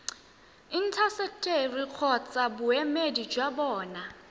intaseteri kgotsa boemedi jwa bona